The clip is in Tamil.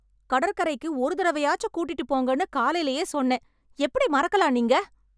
கடற்கரைக்கு ஒரு தடவையாச்சு கூட்டிட்டுப் போங்கன்னு காலைலேயே சொன்னேன், எப்படி மறக்கலாம் நீங்க?